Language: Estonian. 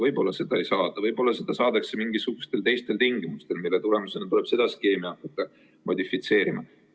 Võib-olla seda ei saada, võib-olla see saadakse mingisugustel teistel tingimustel, mille tulemusena tuleb seda skeemi hakata modifitseerima.